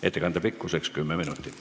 Ettekande pikkus on 10 minutit.